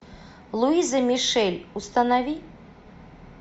луиза мишель установи